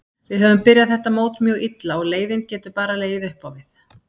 Við höfum byrjað þetta mót mjög illa og leiðinn getur bara legið uppá við.